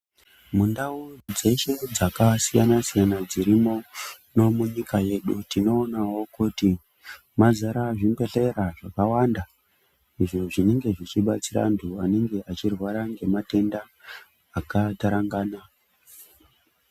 Mundau dzeshe dzakasiyana siyana dzirimo munyika yedu tinoonawo kuti mazara zvibhedhlera zvakawanda izvo zvinenge zvichidetsera vantu vanorwara ngematenda akatarangana.